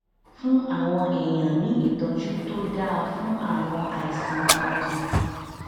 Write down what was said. fún àwọn èèyàn ní ìtójú tó dáa fún àwọn àìsàn ọkàn